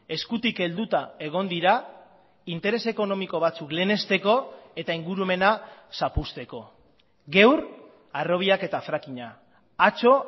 eskutik helduta egon dira interes ekonomiko batzuk lehenesteko eta ingurumena zapuzteko gaur harrobiak eta frackinga atzo